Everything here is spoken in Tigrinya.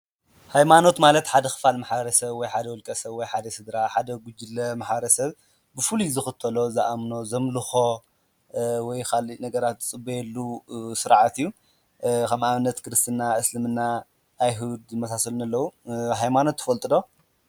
ሃይማኖት ማለት ሓደ ኽፋል መሕበረ ሰ ብ ወይ ሓደ ወልቀ ሰብ ወይ ሓደ ስድራ ሓደ ጕጅለ ማሐበረ ሰብ ብፉሉይ ዝኽተሎ፣ ዝኣምኖ፣ ዘምልኾ ወይኻልእ ነገራት ዝጽልየሉ ሥርዓት እዩ፡፡ ኸም ኣብነት ክርስትና ፣ እስልምና ፣ኣይሁድ ዝመሳሰሉ ኣለዉ፡፡ ሃይማኖት ትፈልጡ ዶ?